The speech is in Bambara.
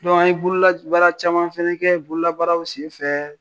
An ye bololabaara caman fana kɛ, bololabaaraw senfɛ